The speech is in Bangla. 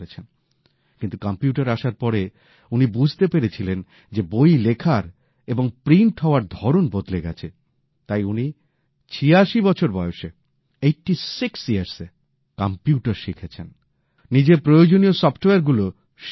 কিন্তু কম্পিউটার আসার পরে উনি বুঝতে পেরেছিলেন যে বই লেখার এবং ছাপানোর ধরন বদলে গেছে তাই উনি ৮৬ বছর বয়সে কম্পিউটার শিখেছেন নিজের প্রয়োজনীয় সফটওয়্যারগুলো শিখেছেন